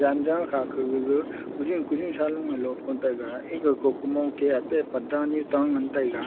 wanjaw kha kagaga kujen kujen saloe lot ngan taiga ega ko kumong keh ate padda nyu ta ngan taiga.